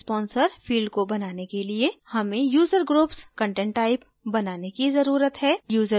event sponsor field को बनाने के लिए हमें user groups content type बनाने की जरूरत है